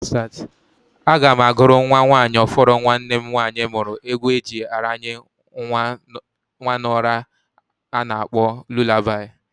Aga m agụrụ nwa nwanyị ọfụrụ nwanne m nwanyị mmuru egwu eji aranye nwa n'ura a na-akpọ lulabai.